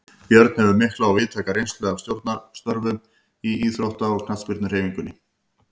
Björn hefur mikla og víðtæka reynslu af stjórnarstörfum í íþrótta- og knattspyrnuhreyfingunni.